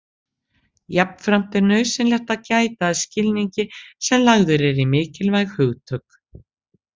Jafnframt er nauðsynlegt að gæta að skilningi sem lagður er í mikilvæg hugtök.